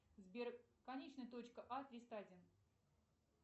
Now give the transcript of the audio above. сбер конечная точка а триста один